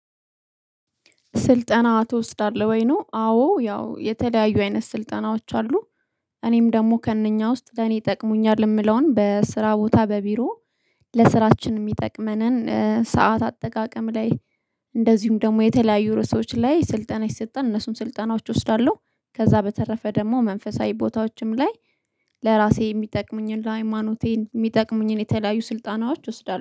ስልጠና ትወስዳለህ ወይ? ነው አዎ ያው የተለያዩ አይነት ስልጠናዎች አሉ። እኔም ደግሞ ከእነኛ ውስጥ ገና ይጠቅሙኛል የምለውን በስራ ቦታ በቢሮ ለስራችን የሚጠቅመንን ሰዓት አጠቃቀም ላይ። እንደዚሁም ደግሞ የተለያዩ ርዕሶች ላይ ስልጠና ይሰጠን እነሱን ስልጠናዎች እወስዳለሁ። ከዛ በተረፈ ደግሞ መንፈሳዊ ቦታዎችም ላይ። ለራሴ የሚጠቅሙኝን ለሃይማኖቴ የሚጠቅሙኝን የተለያዩ ስልጣናዎች እወስዳለሁ